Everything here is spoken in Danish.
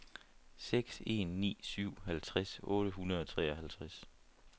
seks en ni syv halvtreds otte hundrede og treoghalvtreds